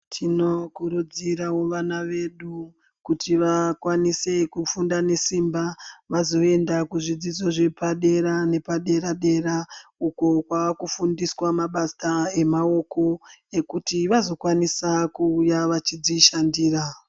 Tinokurudzirawo vana vedu kuti vakwanise kufunda nesimba vazoenda kuzvidzo zvepadera nepadera dera ukwo kwavakufundiswa mabasa emaoko ekuti vazokwanisa kuuya vechidzishandira